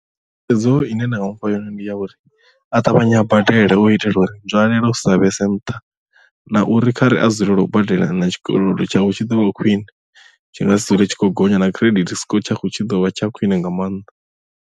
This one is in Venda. Thikhedzo ine nda nga mufha yone ndi ya uri a ṱavhanye a badele u itela uri nzwalelo dzisa vhese nṱha na uri kha ri a dzulele u badela na tshikolodo tshawe tshi ḓo vha khwiṋe tshi nga si dzule tshi khou gonya na credit score tshavho tshi ḓovha tsha khwine nga maanḓa.